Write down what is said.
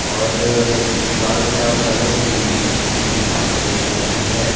और दीवाल का कलर भी बिल्कुल पानी जैसा ही है।